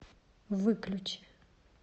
выключи